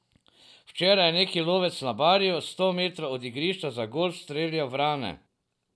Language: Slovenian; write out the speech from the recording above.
Včeraj je neki lovec na Barju sto metrov od igrišča za golf streljal vrane.